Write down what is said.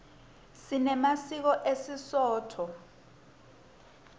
sinemasiko esisotho